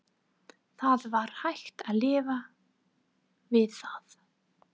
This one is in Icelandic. Það var hægt að lifa við það.